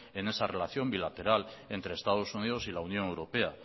en esa relación bilateral entre estados unidos y la unión europea